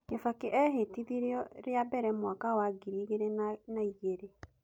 Kibaki ehĩtithirio rĩa mbere mwaka wa ngiri igĩrĩ na igĩrĩ.